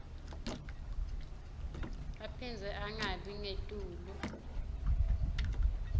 aphindze angabi ngetulu